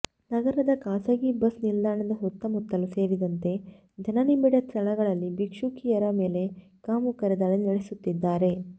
ನಗರದ ಖಾಸಗಿ ಬಸ್ ನಿಲ್ದಾಣದ ಸುತ್ತಮುತ್ತಲು ಸೇರಿದಂತೆ ಜನನಿಭಿಡ ಸ್ಥಳಗಳಲ್ಲಿ ಭಿಕ್ಷುಕಿಯರ ಮೇಲೆ ಕಾಮುಕರು ದಾಳಿ ನಡೆಸುತ್ತಿದ್ದಾರೆ